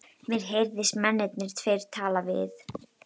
Mér heyrðist mennirnir tveir tala við